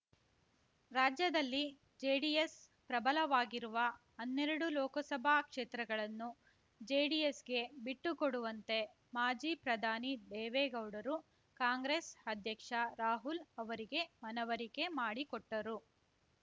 ರಾಜ್ಯದಲ್ಲಿ ಜೆಡಿಎಸ್ ಪ್ರಬಲವಾಗಿರುವ ಹನ್ನೆರಡು ಲೋಕಸಭಾ ಕ್ಷೇತ್ರಗಳನ್ನು ಜೆಡಿಎಸ್‌ಗೆ ಬಿಟ್ಟು ಕೊಡುವಂತೆ ಮಾಜಿ ಪ್ರಧಾನಿ ದೇವೇಗೌಡರು ಕಾಂಗ್ರೆಸ್ ಅಧ್ಯಕ್ಷ ರಾಹುಲ್ ಅವರಿಗೆ ಮನವರಿಕೆ ಮಾಡಿಕೊಟ್ಟರು